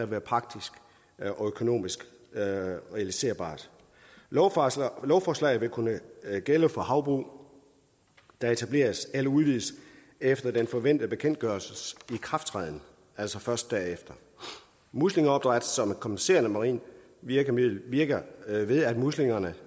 være praktisk og økonomisk realiserbart lovforslaget lovforslaget vil kunne gælde for havbrug der etableres eller udvides efter den forventede bekendtgørelses ikrafttræden altså først derefter muslingeopdræt som kompenserende marint virkemiddel virker ved at muslingerne